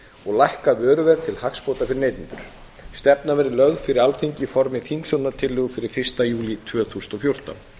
og lækka vöruverð til hagsbóta fyrir neytendur stefnan verði lögð fyrir alþingi í formi þingsályktunartillögu fyrir fyrsta júlí tvö þúsund og fjórtán virðulegi